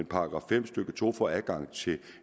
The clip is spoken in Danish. § fem stykke to får man adgang til